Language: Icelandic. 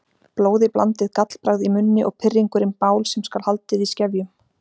Blóðiblandið gallbragð í munni og pirringurinn bál sem skal haldið í skefjum.